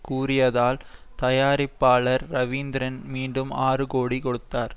கூறியதால் தயாரிப்பாளர் ரவீந்திரன் மீண்டும் ஆறு கோடி கொடுத்தார்